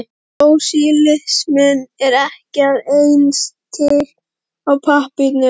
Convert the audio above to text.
Og sósíalisminn er ekki að eins til á pappírnum.